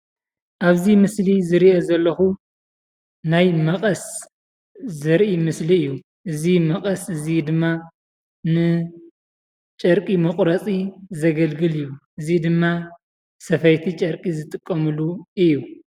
ኣብዚ ምስሊ ዝሪኦ ዘለኹ ናይ መቐስ ዘርኢ ምስሊ እዩ። እዚ መቐስ እዚ ድማ ንጨርቂ መቑረፂ ዘገልግል እዩ። እዚ ድማ ሰፈይቲ ጨርቂ ዝጥቀሙሉ እዩ።